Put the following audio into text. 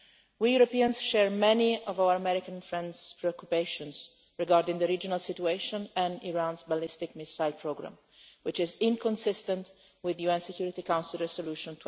We Europeans share many of our American friends' preoccupations regarding the regional situation and Iran's ballistic missile programme, which is inconsistent with UN Security Council Resolution